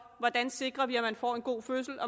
hvordan vi sikrer at man får en god fødsel